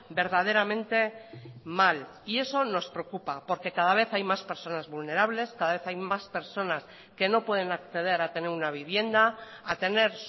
verdaderamente mal y eso nos preocupa porque cada vez hay más personas vulnerables cada vez hay más personas que no pueden acceder a tener una vivienda a tener